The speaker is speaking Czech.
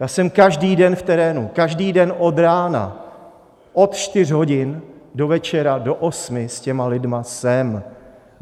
Já jsem každý den v terénu, každý den od rána, od čtyř hodin do večera do osmi s těmi lidmi jsem.